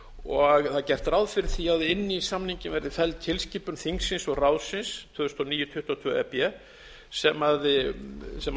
og það er gert ráð fyrir því að inn í samninginn verði felld tilskipun þingsins og ráðsins tvö þúsund og níu tuttugu og tvö e b sem